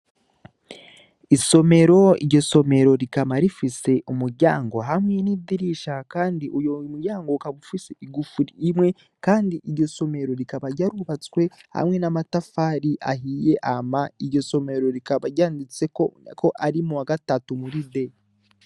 Isomero, iryo somero rikaba rifise umuryango hamwe n'idirisha. Kandi uyo muryango ufise igufuri rimwe kandi iryo somero rikaba ryarubatswe hamwe n'amatafari ahiye hama iryo somero rikaba ryanditseko ko ari mu wa gatatu D